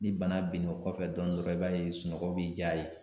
Ni bana binno o kɔfɛ dɔɔni dɔrɔn i b'a ye sunɔgɔ bi diya ye.